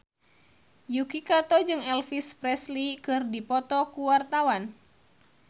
Yuki Kato jeung Elvis Presley keur dipoto ku wartawan